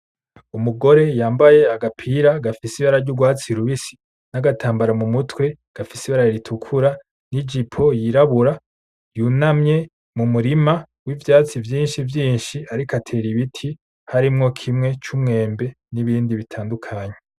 Umugore yambaye agapira gafise ibara ry'urwatsi rubisi n'agatambara mumutwe gafise ibara ritukura n'ijipo yirabura. Yunamye mu murima w'ivyatsi vyinshi vyinshi, ariko atera ibiti, harimwo kimwe c'umwembe n'ibindi bitandukanye.